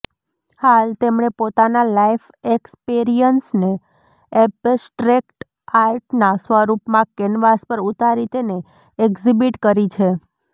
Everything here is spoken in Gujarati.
હાલ તેમણે પોતાના લાઈફ એક્સપેરિયન્સને એબ્સ્ટ્રેક્ટ આર્ટના સ્વરૃપમાં કેનવાસ પર ઉતારી તેને એક્ઝિબિટ કરી છે